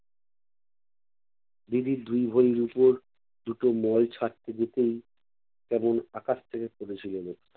দিদি দুই ভরি রূপোর দুটো মল ছাড়তে দিতেই কেমন আকাশ থেকে পড়েছিলো লোকটা।